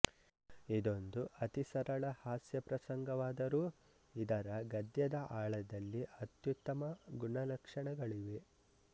ಇದೊಂದು ಅತಿ ಸರಳ ಹಾಸ್ಯ ಪ್ರಸಂಗವಾದರೂ ಇದರ ಗದ್ಯದ ಆಳದಲ್ಲಿ ಅತ್ಯುತ್ತಮ ಗುಣಲಕ್ಷಣಗಳಿವೆ